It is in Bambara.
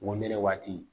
Wonde waati